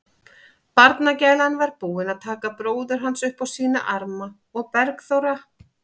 Barnagælan var búin að taka bróður hans upp á sína arma og Bergþóra